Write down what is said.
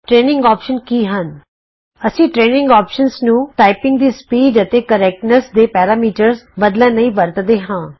training ਵਿਕਲਪ ਕੀ ਹਨ ਅਸੀਂ ਟਰੇਨਿੰਗ ਵਿਕਲਪ ਨੂੰ ਟਾਈਪਿੰਗ ਦੀ ਸਪੀਡ ਅਤੇ ਸ਼ੁੱਧਤਾ ਕਰੈਕਟਨੈੱਸ ਸਹੀ ਟਾਈਪਿੰਗ ਦਾ ਪ੍ਰਤੀਸ਼ਤ ਦੇ ਮਾਪਦੰਡ ਬਦਲਣ ਲਈ ਵਰਤਦੇ ਹਾਂ